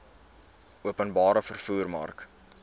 openbare vervoer mark